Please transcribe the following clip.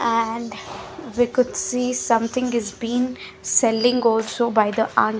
and we could see something is been selling also by the --